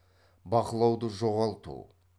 бақылауды жоғалту